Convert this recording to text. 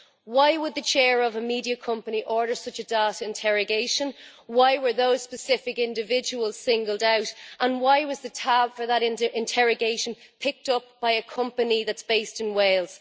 Why would the Chair of a media company order such a data interrogation, why were those specific individuals singled out and why was the tab for that interrogation picked up by a company which is based in Wales?